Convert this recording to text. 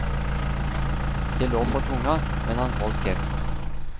Det lå på tunga, men han holdt kjeft.